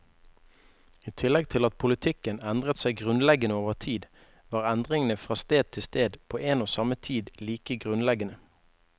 I tillegg til at politikken endret seg grunnleggende over tid, var endringene fra sted til sted på en og samme tid like grunnleggende.